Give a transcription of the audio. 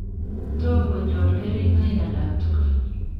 Tomgonyor kerigoik alaktugul.